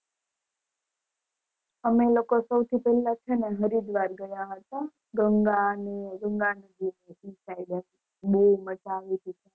અમે લોકો સૌથી પહેલા છેને હરિદ્વાર ગયા હતા, ગંગા, ગંગા ને નદી એ બૌ મજ આવી હતી